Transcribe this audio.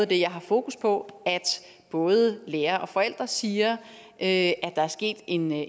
det jeg har fokus på er at både lærere og forældre siger at der er sket en